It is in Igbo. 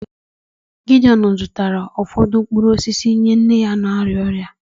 Gideon zụtara ụfọdụ mkpụrụ osisi nye nne ya na-arịa ọrịa